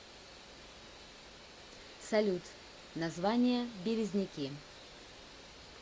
салют название березники